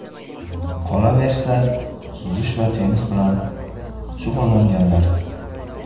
Qolaversa, suzish va tennis bilan shug‘ullanganlar.